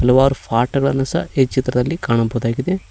ಹಲವಾರು ಫಾಟ್ ಗಳನ್ನು ಸಹ ಈ ಚಿತ್ರದಲ್ಲಿ ಕಾಣಬಹುದಾಗಿದೆ.